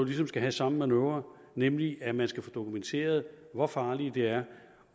ligesom skal have samme manøvre nemlig at man skal få dokumenteret hvor farlige de er